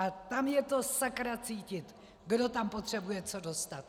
A tam je to sakra cítit, kdo tam potřebuje co dostat!